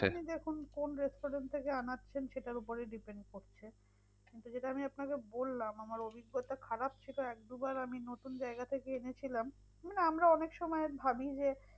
দেখুন কোন restaurant থেকে আনাচ্ছেন সেটার উপরে depend করছে। কিন্তু যেটা আপনাকে বললাম আমার অভিজ্ঞতা খারাপ ছিল এক দুবার আমি নতুন নতুন জায়গা থেকে এনেছিলাম। মানে আমরা অনেক সময় ভাবি যে,